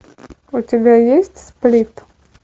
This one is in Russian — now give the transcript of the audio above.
у тебя есть сплит